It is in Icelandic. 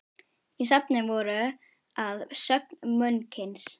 Í safninu voru að sögn munksins